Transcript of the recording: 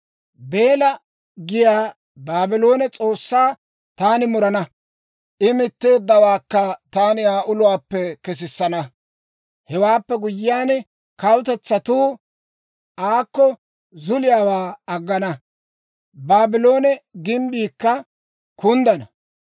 Beela giyaa Baabloone s'oossaa taani murana; I mitteeddawaakka taani Aa uluwaappe kesissana. Hewaappe guyyiyaan, kawutetsatuu aakko zuliyaawaa aggana; Baabloone gimbbiikka kunddana.